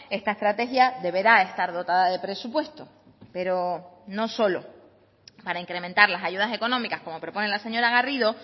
esta estrategia deberá estar dotada de presupuesto pero no solo para incrementar las ayudas económicas como propone la señora garrido